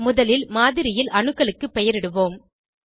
முதலில் மாதிரியில் அணுக்களுக்கு பெயரிடுவோம்